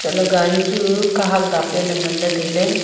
chatley gari chu kahak dapley le ley ngan ley tailey.